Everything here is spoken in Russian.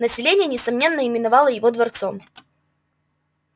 население несомненно именовало его дворцом